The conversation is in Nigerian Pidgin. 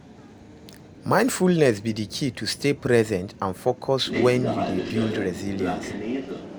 Mindfulness be di key to stay present and focused when you dey build resilience.